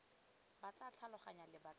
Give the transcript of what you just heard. ba tla tlhaloganya lebaka la